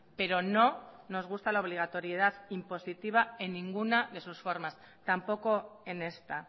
pero no nos gusta la obligatoriedad impositiva en ninguna de sus formas tampoco en esta